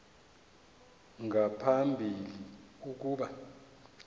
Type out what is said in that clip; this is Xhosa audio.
nga phambili ukuba